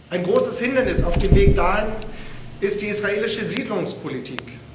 Ein großes Hindernis auf dem Weg dahin ist die israelische Siedlungspolitik.